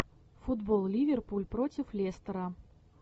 футбол ливерпуль против лестера